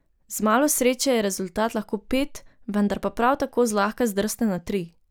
Z malo sreče je rezultat lahko pet, vendar pa prav tako zlahka zdrsne na tri.